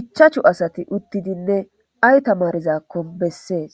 ichachu asati uttidinne ay tamarizakkon bessees